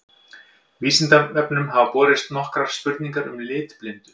Vísindavefnum hafa borist nokkrar spurningar um litblindu.